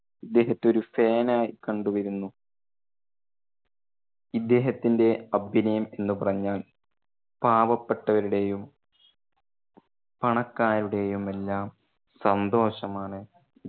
ഇദ്ദേഹത്തെ ഒരു fan ആയി കണ്ട് വരുന്നു. ഇദ്ദേഹത്തിന്റെ അഭിനയം എന്ന് പറഞ്ഞാൽ പാവപ്പെട്ടവരുടെയും പണക്കാരുടെയും എല്ലാം സന്തോഷം ആണ്.